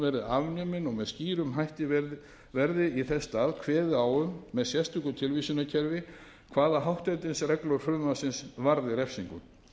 hún verði afnumin og að þess í stað verði skýrt kveðið á um með sérstöku tilvísunarkerfi hvaða hátternisreglur frumvarpsins varði refsingu